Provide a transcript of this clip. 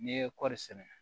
N'i ye kɔri sɛnɛ